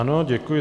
Ano, děkuji.